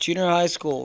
junior high schools